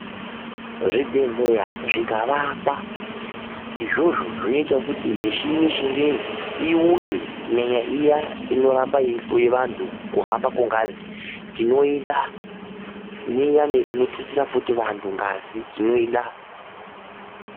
Zvibhedhleya zvikavakwa, izvozvo zvinoitawo mishini yechingezi iuye, kunyanya iya inoramba yeihloye anhu kuhamba kwengazi, tinoida, neiyani inothutsira futi ngazi, tinoida.